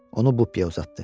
Onu Bupiyə uzatdı.